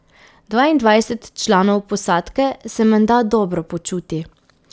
Dvaindvajset članov posadke se menda dobro počuti.